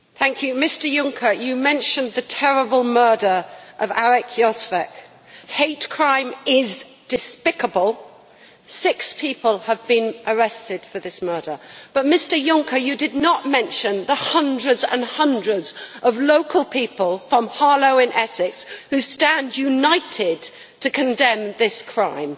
Madam President, Mr Juncker mentioned the terrible murder of Arkadiusz Jozwik. Hate crime is despicable. Six people have been arrested for this murder. But, Mr Juncker, you did not mention the hundreds and hundreds of local people from Harlow in Essex who stand united to condemn this crime.